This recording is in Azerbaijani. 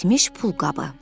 İtmiş pulqabı.